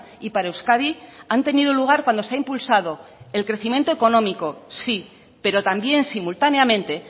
y para euskadi han tenido lugar cuando se ha impulsado el crecimiento económico sí pero también simultáneamente